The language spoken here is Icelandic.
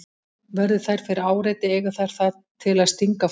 Verði þær fyrir áreiti eiga þær það til að stinga fólk.